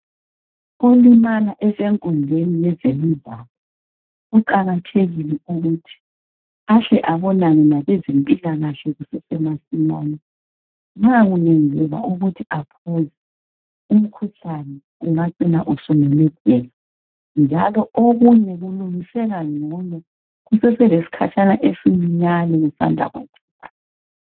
Olimala esenkundleni yezemidlalo kuqakathekile ukuthi ahle abonane labezempilakahle kusesemasinyane. Angaphuza umkhuhlane ungacina sumemetheka njalo okunye kulungiseka ngcono nxa kusanda kwenzeka.